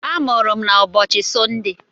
A mụrụ m na ụbọchị Sọnde.